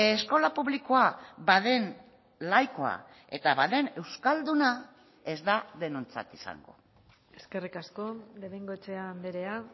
eskola publikoa baden laikoa eta baden euskalduna ez da denontzat izango eskerrik asko de bengoechea andrea